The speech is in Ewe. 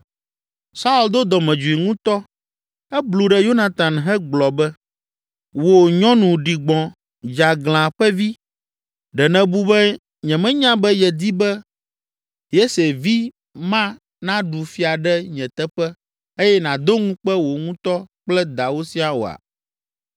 Saul do dɔmedzoe ŋutɔ, eblu ɖe Yonatan hegblɔ be, “Wò, nyɔnu ɖigbɔ, dzeaglã ƒe vi! Ɖe nèbu be nyemenya be yedi be Yese vi ma naɖu fia ɖe nye teƒe eye nàdo ŋukpe wò ŋutɔ kple dawò siaa oa?